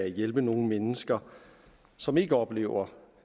hjælpe nogle mennesker som ikke oplever